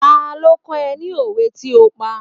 Ta ló ó kó ni òwe tí ó pa?